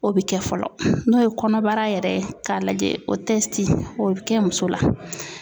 O bɛ kɛ fɔlɔ n'o ye kɔnɔbara yɛrɛ ye k'a lajɛ o o bɛ kɛ muso la.